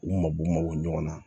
U mago mago ɲɔn na